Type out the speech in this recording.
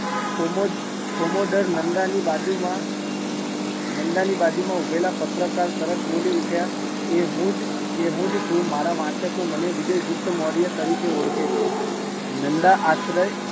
commodore, commodore Nanda ની બાજુ માં, નંદા ની બાજુ માં ઉભેલા પત્રકાર તરત બીલો ઉઠ્યા, એ હું જ છું, મારા વાચકો મને વિજયગુપ્ત મૌર્ય તરીકે ઓળખે છે, નંદા આશ્ર્ય